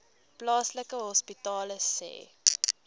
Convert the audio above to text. plaaslike hospitale sê